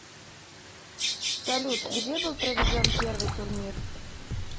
салют где был проведен первый турнир